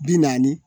Bi naani